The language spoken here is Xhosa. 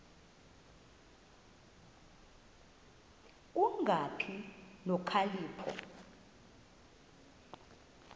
ku kungabi nokhalipho